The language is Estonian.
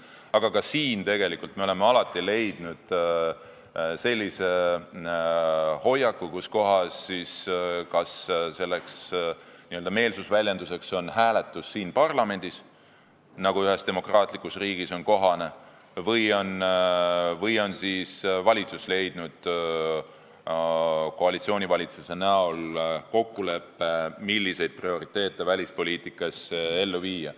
Aga ka siin me oleme alati saavutanud sellise hoiaku, et selleks n-ö meelsusväljenduseks on hääletus siin parlamendis, nagu ühes demokraatlikus riigis on kohane, või on koalitsioonivalitsus jõudnud kokkuleppele, milliseid prioriteete välispoliitikas ellu viia.